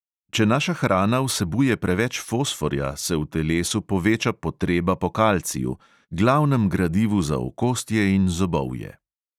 Če naša hrana vsebuje preveč fosforja, se v telesu poveča potreba po kalciju, glavnem gradivu za okostje in zobovje.